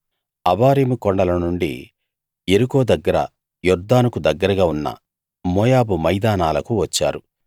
అబారీము కొండల నుండి యెరికో దగ్గర యొర్దానుకు దగ్గరగా ఉన్న మోయాబు మైదానాలకు వచ్చారు